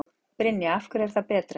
Brynja: Af hverju er það betra?